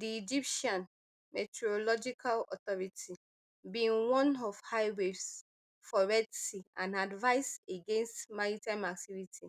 di egyptian meteorological authority bin warn of high waves for red sea and advise against maritime activity